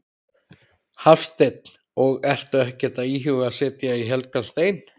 Hafsteinn: Og ertu ekkert að íhuga að setja í helgan stein?